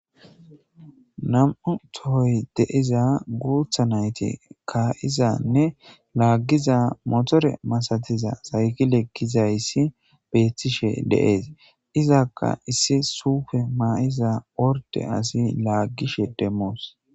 Nam7uthooy deiza guutha nayti kaa7izanne laaggiza motore masatiza sayki lekkizayssi beethtishe deees izakka issi suufe maa7iza orde asi laaggishe demmoos